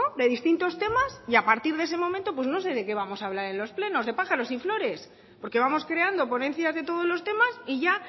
de distintos temas y a partir de ese momento pues no sé de qué vamos a hablar en los plenos de pájaros y flores porque vamos creando ponencias de todos los temas y ya